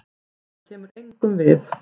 Það kemur engum við.